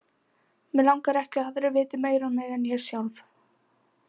Mig langar ekki að aðrir viti meira um mig en ég sjálf.